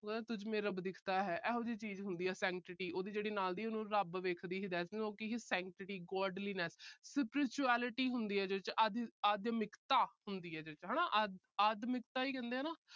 ਤੁਝ ਮੇਂ ਰੱਬ ਦਿਖਤਾ ਹੈ, ਇਹੋ ਜੀ ਚੀਜ ਹੁੰਦੀ ਆ। sanctity ਉਹਦੇ ਜਿਹੜੀ ਨਾਲ ਦੀ ਆ, ਉਹਨੂੰ ਰੱਬ ਦੇਖਦੀ ਆ। so sanctify Godliness spirituality ਹੁੰਦੀ ਹੈ ਜਿਹਦੇ ਵਿੱਚ। ਆਧ ਅਹ ਆਧਮਿਕਤਾ ਹੁੰਦੀ ਹੈ ਜਿਹਦੇ ਵਿੱਚ। ਆਧ ਅਹ ਆਧਮਿਕਤਾ ਹੀ ਕਹਿੰਦੇ ਆ ਨਾ।